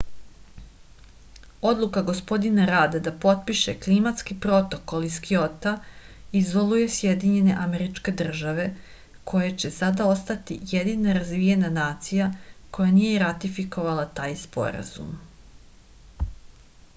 odluka gospodina rada da potpiše klimatski protokol iz kjota izoluje sjedinjene američke države koje će sada ostati jedina razvijena nacija koja nije ratifikovala taj sporazum